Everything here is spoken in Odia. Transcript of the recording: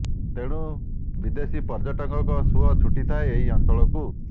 ତେଣୁ ବିଦେଶୀ ପ ର୍ଯ୍ୟଟକଙ୍କ ସୂଆ ଛୁଟିଥାଏ ଏହି ଅଂଚଳକୁ